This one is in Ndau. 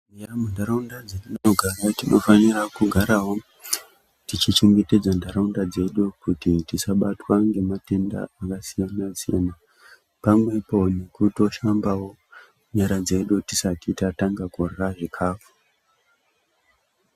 Muntaraunda dzetinogara tinofanira kugarawo techichengetedza ntaraunda dzedu kuti tisabatwa ngematenda akasiyana siyana pamwepo ngekutoshambawo nyara dzedu tisati tatanga kurya zvikafu.